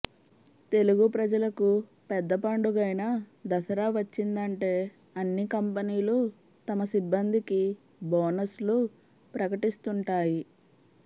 తెలుగు ప్రజలకు పెద్ద పండుగైన దసరా వచ్చిందంటే అన్ని కంపనీలు తమ సిబ్బందికి బోనస్ లు ప్రకటిస్తుంటాయి